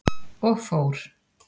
Og fór.